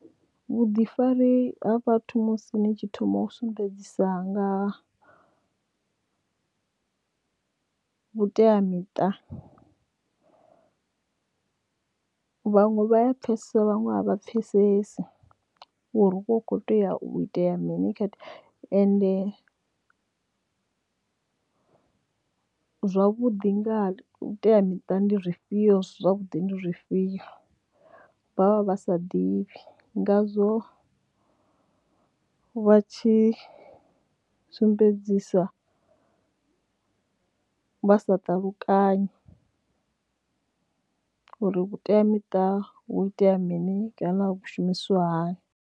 Vhuḓifari ha vhathu musi ni tshi thoma u sumbedzisa nga vhuteamiṱa vhaṅwe vha ya pfesesa vhaṅwe a vha pfesesi uri hu vha hu kho tea u itea mini khetha ende zwavhuḓi nga teamiṱa ndi zwifhio zwavhuḓi ndi zwifhio vha vha vha sa ḓivhi ngazwo vha tshi sumbedzisa vha sa ṱalukanya uri vhuteamiṱa vhu itea mini kana vhu shumiswa hani.